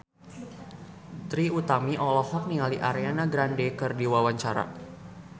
Trie Utami olohok ningali Ariana Grande keur diwawancara